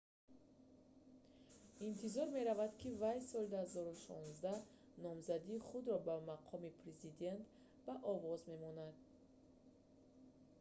интизор меравад ки вай соли 2016 номзадии худро ба мақоми президент ба овоз мемонад